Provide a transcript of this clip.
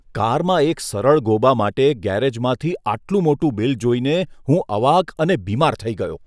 કારમાં એક સરળ ગોબા માટે ગેરેજમાંથી આટલું મોટું બિલ જોઈને હું અવાક અને બીમાર થઈ ગયો.